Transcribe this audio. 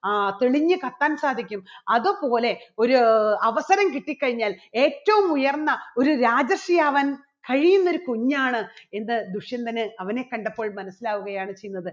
ആ തെളിഞ്ഞ് കത്താൻ സാധിക്കും. അതുപോലെ ഒരു അവസരം കിട്ടിക്കഴിഞ്ഞാൽ ഏറ്റവും ഉയർന്ന ഒരു രാജർഷി ആവാൻ കഴിയുന്ന ഒരു കുഞ്ഞാണ് എന്ത് ദുഷ്യന്തന് അവനെ കണ്ടപ്പോൾ മനസ്സിലാവുകയാണ് ചെയ്യുന്നത്.